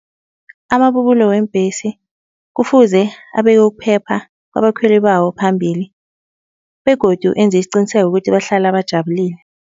Amabubulo weembhesi kufuze abeke ukuphepha kwabakhweli bawo phambili begodu enze isiqiniseko ukuthi bahlala bajabulile.